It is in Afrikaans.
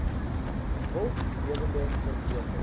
wild lewende verkope